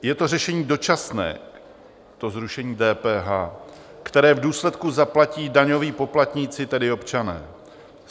Je to řešení dočasné, to zrušení DPH, které v důsledku zaplatí daňoví poplatníci, tedy občané.